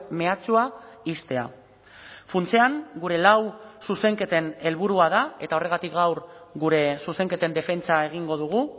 mehatxua ixtea funtsean gure lau zuzenketen helburua da eta horregatik gaur gure zuzenketen defentsa egingo dugu